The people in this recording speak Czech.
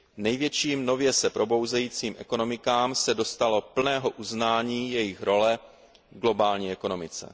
Největším nově se probouzejícím ekonomikám se dostalo plného uznání jejich role v globální ekonomice.